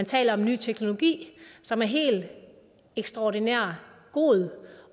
taler om en ny teknologi som er helt ekstraordinært god